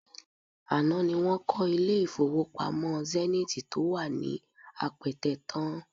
Àná ni wọ́n kọ́ ilé-ìfowópamọ́ Zenith tó wà ní Apẹtẹ tán